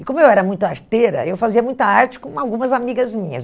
E como eu era muito arteira, eu fazia muita arte com algumas amigas minhas.